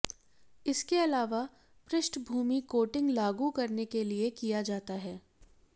इसके अलावा पृष्ठभूमि कोटिंग लागू करने के लिए किया जाता है